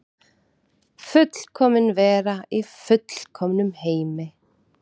Fullkomin vera í fullkomnum heimi.